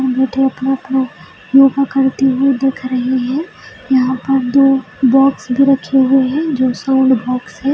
सब बैठे-बैठे अपना योगा करती हुई दिख रही है यहाँ पर दो बॉक्स भी रखे हुए है जो साउंड बॉक्स है ।